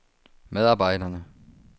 medarbejderne